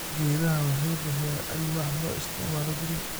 Geedaha waxay bixiyaan alwaax loo isticmaalo guriga.